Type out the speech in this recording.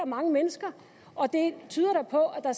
mange mennesker og det tyder da på at